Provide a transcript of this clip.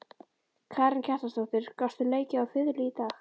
Karen Kjartansdóttir: Gastu leikið á fiðlu í dag?